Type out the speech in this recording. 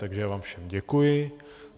Takže já vám všem děkuji.